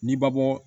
Ni babɔ